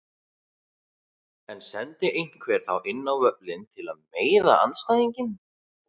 En sendi einhver þá inn á völlinn til að meiða andstæðinginn?